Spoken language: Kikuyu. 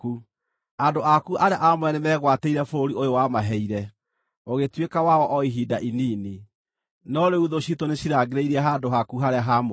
Andũ aku arĩa aamũre nĩmegwatĩire bũrũri ũyũ wamaheire ũgĩtuĩka wao o ihinda inini, no rĩu thũ ciitũ nĩcirangĩrĩirie handũ haku harĩa haamũre.